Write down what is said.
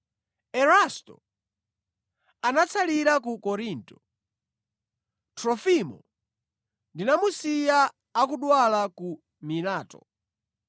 Erasto anatsalira ku Korinto. Trofimo ndinamusiya akudwala ku Mileto.